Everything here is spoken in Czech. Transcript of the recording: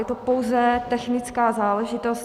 Je to pouze technická záležitost.